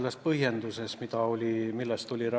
Hea rahanduskomisjoni esimees!